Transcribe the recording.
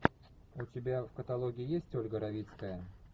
у тебя в каталоге есть ольга равицкая